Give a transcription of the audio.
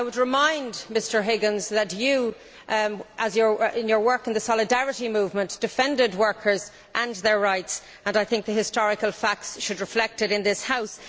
I would remind Mr Higgins that you, in your work in the Solidarity movement, defended workers and their rights, and I think the historical facts should be reflected it in this House.